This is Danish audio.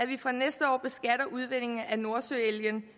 vi fra næste år udvindingen af nordsøolien